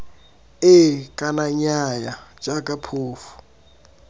ee kana nnyaya jaaka phofu